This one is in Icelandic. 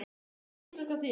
Hvernig er íslenskan þín?